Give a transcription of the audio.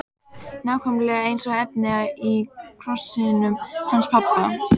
Nákvæmlega eins efni og í krossinum hans pabba!